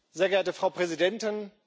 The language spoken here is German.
Sehr geehrte Frau Präsidentin!